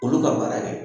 Olu ka baara kɛ